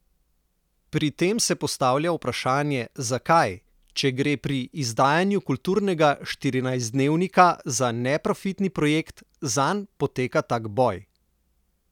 Pri tem se postavlja vprašanje, zakaj, če gre pri izdajanju kulturnega štirinajstdnevnika za neprofitni projekt, zanj poteka tak boj?